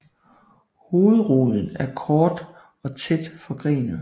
Hovedroden er kort og tæt forgrenet